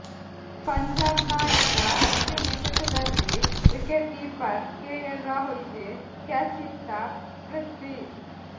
ಪಂಜಾಬ್ ನಾಯಕ ಅಶ್ವಿನ್ ಎಸೆತದಲ್ಲಿ wicket keeper KL Rahul ಗೆ ಕ್ಯಾಚಿತ್ತ ಪೃಥ್ವಿ